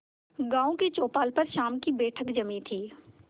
गांव की चौपाल पर शाम की बैठक जमी थी